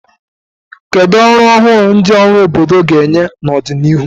Kedu ọrụ ọhụrụ ndị ọrụ obodo ga-enye n'ọdịnihu?